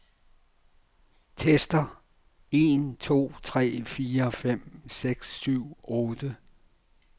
Tester en to tre fire fem seks syv otte.